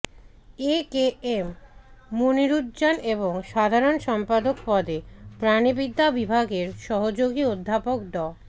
এ কে এম মনিরুজ্জামান এবং সাধারণ সম্পাদক পদে প্রাণিবিদ্যা বিভাগের সহযোগী অধ্যাপক ড